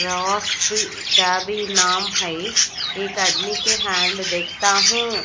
नाम हैं एक आदमी के हैंड देखता हूं।